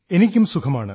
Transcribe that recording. എനിക്കും സുഖമാണ്